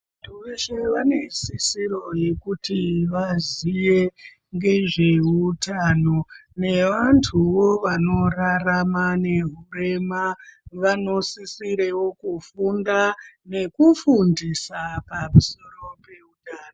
Vantu veshe vane sisiro yekuti vaziye ngezveutano nevantuwo vanorarama nehurema vanosisirewo kufunda nekufundisa paruzivo peutano.